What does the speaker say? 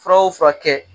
Fura o fura kɛ